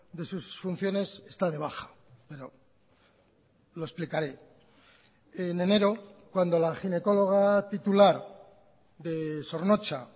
de sus funciones está de baja pero lo explicaré en enero cuando la ginecóloga titular de zornotza